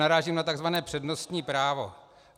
Narážím na tzv. přednostní právo.